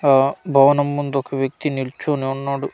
ఆ భవనం ముందు ఒక వ్యక్తి నిల్చొని ఉన్నాడు.